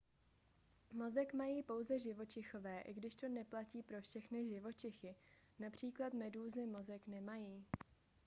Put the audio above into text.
mozek mají pouze živočichové i když to neplatí pro všechny živočichy: například medúzy mozek nemají